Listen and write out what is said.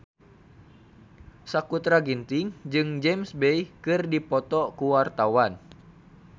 Sakutra Ginting jeung James Bay keur dipoto ku wartawan